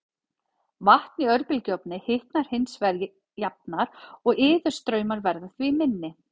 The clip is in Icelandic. Vatn í örbylgjuofni hitnar hins vegar jafnar og iðustraumar verða því minni.